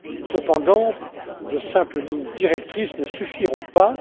Cependant, de simples lignes directrices ne suffiront pas.